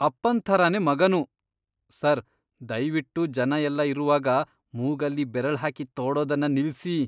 ಅಪ್ಪನ್ ಥರನೇ ಮಗನೂ. ಸರ್, ದಯ್ವಿಟ್ಟು ಜನ ಎಲ್ಲ ಇರುವಾಗ ಮೂಗಲ್ಲಿ ಬೆರಳ್ಹಾಕಿ ತೋಡೋದನ್ನ ನಿಲ್ಸಿ.